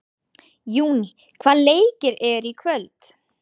Júní, hvaða leikir eru í kvöld?